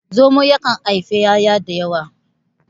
zamon yakan haifi 'ya'ya da yawa